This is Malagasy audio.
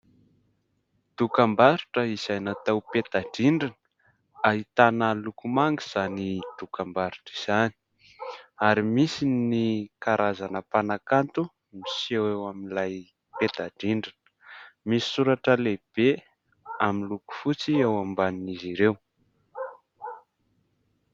Dokam-barotra izay natao peta-drindrina ahitana loko manga izany dokam-barotra izany ary misy ny karazana mpanakanto miseho eo amin'ilay peta-drindrina, misy soratra lehibe amin'ny loko fotsy eo ambanin'izy ireo.